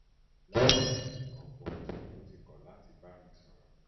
lẹ́yìn ọ̀pọ̀ ọ̀sẹ̀ tó ti kọ̀ láti um bá mi um bá mi sọ̀rọ̀